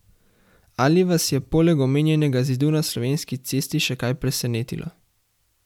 Ali vas je poleg omenjenega zidu na Slovenski cesti še kaj presenetilo?